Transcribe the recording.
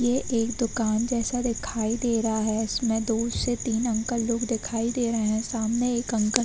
ये एक दुकान जैसा दिखाई दे रहा है। इसमें दो से तीन अंकल लोग दिखाई दे रहे हैं। सामने एक अंकल --